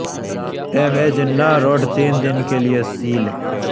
M A Jinnah road تین دن کے لئے سیل